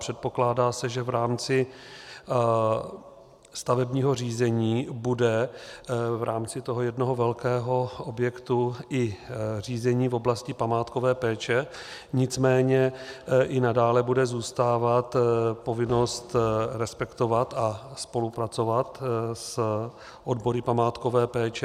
Předpokládá se, že v rámci stavebního řízení bude v rámci toho jednoho velkého objektu i řízení v oblasti památkové péče, nicméně i nadále bude zůstávat povinnost respektovat a spolupracovat s odbory památkové péče.